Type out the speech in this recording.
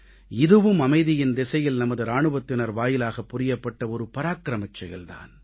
இதுவும் அமைதியின் திசையில் நமது இராணுவத்தினர் வாயிலாக புரியப்பட்ட ஒரு பராக்கிரமச் செயல் தான்